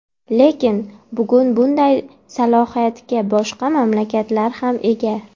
Lekin, bugun bunday salohiyatga boshqa mamlakatlar ham ega.